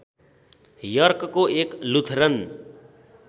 यर्कको एक लुथरन